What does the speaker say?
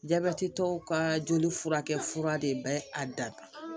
Jabɛti tɔw ka joli furakɛ de bɛ a da